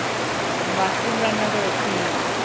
Mushroom রান্না করেছি।